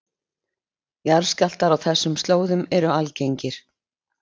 Jarðskjálftar á þessum slóðum eru algengir